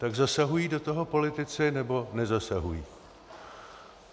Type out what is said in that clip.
Tak zasahují do toho politici, nebo nezasahují?